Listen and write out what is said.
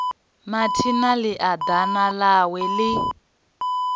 mathina ḽia ḓana ḽawe ḽi